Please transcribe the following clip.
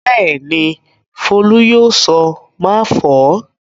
Bẹ́ẹ̀ ni, Folú yóò sọ "máfọ̀ọ́".